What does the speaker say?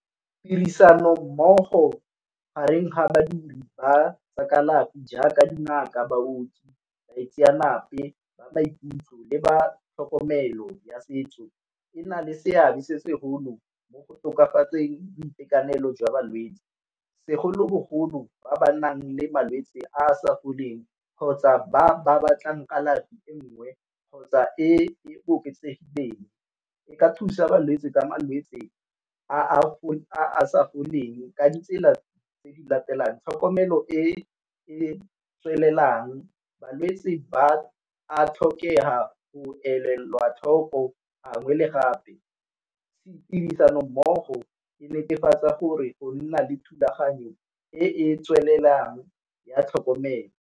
Tirisanommogo gareng badiri ba tsa kalafi jaaka dingaka, baoki, baitsenape ba maikutlo, le ba tlhokomelo ya setso e na le seabe se segolo mo go tokafatseng boitekanelo jwa balwetsi segolobogolo ba ba nang le malwetsi a a sa foleng kgotsa ba ba batlang kalafi e nngwe kgotsa e oketsegeng. E ka thusa balwetsi ka malwetsi a a sa foleng ka ditsela tse di latelang tlhokomelo e e tswelelang, balwetsi ba a tlhokega tlhoko gangwe le gape, tirisanommogo e netefatsa gore o nna le thulaganyo e e tswelelang ya tlhokomelo.